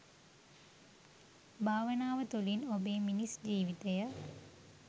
භාවනාව තුළින් ඔබේ මිනිස් ජීවිතය